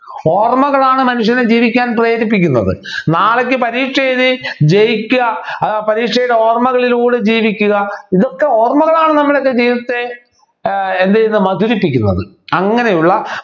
ഓർമ്മകളാണ് മനുഷ്യനെ ജീവിക്കാൻ പ്രേരിപ്പിക്കുന്നത് നാളേക്ക് പരീക്ഷ എഴുതി ജയിക്കുക ആഹ് പരീക്ഷയുടെ ഓർമ്മകളിലൂടെ ജീവിക്കുക ഇതൊക്കെ ഓർമ്മകളാണ് നമ്മുടെ ജീവിതത്തെ ഏർ എന്ത് ചെയ്യുന്നു മധുരിപ്പിക്കുന്നത് അങ്ങനെയുള്ള